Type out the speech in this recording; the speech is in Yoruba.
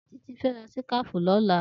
Titi fè rà síkàfí lòlá